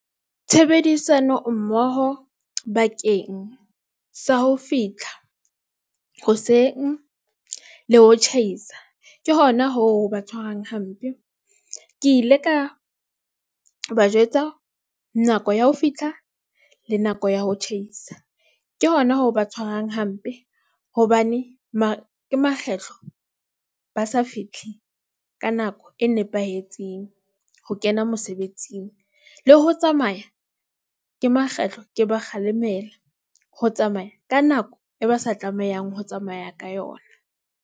Tshebedisano mmoho bakeng sa ho fitlha hoseng le ho tjhaisa. Ke hona hoo ho ba tshwarang hampe. Ke ile ka ba jwetsa nako ya ho fitlha, le nako ya ho tjhaisa, ke hona ho ba tshwarang hampe. Hobane ke makgetlo ba sa fihle ka nako e nepahetseng, ho kena mosebetsing. Le ho tsamaya, ke makgetlo ke ba kgalemela ho tsamaya ka nako e ba sa tlamehang ho tsamaya ka yona.